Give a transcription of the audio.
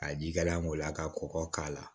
Ka ji kala o la ka kɔkɔ k'a la